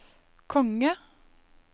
konge